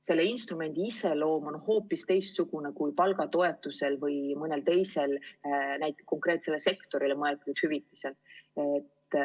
Selle instrumendi iseloom on hoopis teistsugune kui palgatoetusel või mõnel teisel konkreetsele sektorile mõeldud hüvitisel.